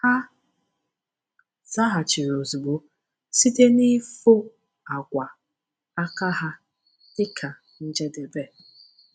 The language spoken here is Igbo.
Ha zaghachiri ozugbo site n’ịfụ akwa aka ha dị ka njedebe.